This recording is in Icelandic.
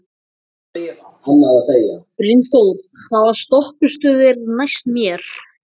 Brynþór, hvaða stoppistöð er næst mér?